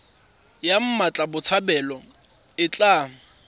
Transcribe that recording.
ya mmatla botshabelo e tla